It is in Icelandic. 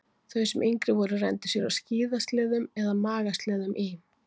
Þau sem yngri voru renndu sér á skíðasleðum eða magasleðum í